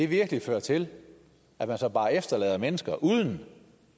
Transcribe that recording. virkelig føre til at man så bare efterlader mennesker uden